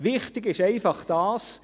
Wichtig ist einfach dies: